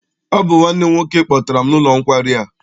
Ọ bụ nwanne m nwoke kpọtara m n'ụlọ nkwari a.